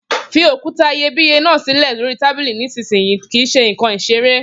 Fi òkúta iyebíye náà sílè lóríi tábìlì nísinsìnyí! Kìí ṣe ǹkan ìṣeré